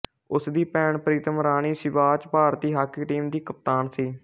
ਉਸਦੀ ਭੈਣ ਪ੍ਰੀਤਮ ਰਾਣੀ ਸਿਵਾਚ ਭਾਰਤੀ ਹਾਕੀ ਟੀਮ ਦੀ ਕਪਤਾਨ ਸੀ